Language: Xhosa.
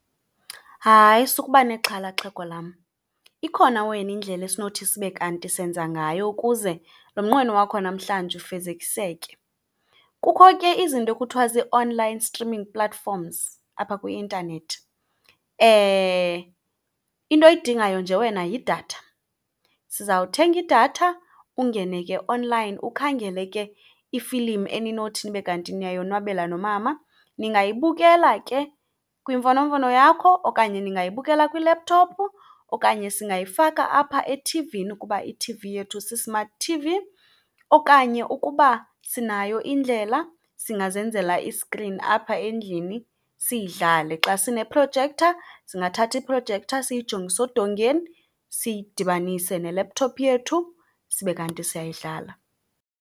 Hayi, sukuba nexhala xhego lam. Ikhona wena indlela esinothi sibe kanti senza ngayo ukuze lo mnqweno wakho wanamhlanje ufezekiseke. Kukho ke izinto ekuthiwa zii-online streaming platforms apha kwi-intanethi. Into oyidingayo nje wena yidatha. Sizawuthengidatha, ungene ke-online ukhangele ke i-film eninothi nibe kanti ningayonwabela nomama. Ningayibukela ke kwimfonomfono yakho, okanye ningayibukela kwi-laptop okanye singayifaka apha ethivini kuba i-T_V yethu si-smart T_V. Okanye ukuba sinayo indlela singazenzela i-screen apha endlini, siyidlale. Xa sine-projector, singathatha i-projector siyijongise odongeni siyidibanise ne-laptop yethu, sibe kanti siyayidlala.